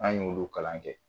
An y'olu kalan kɛ.